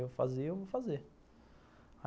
Eu fazer, eu vou fazer.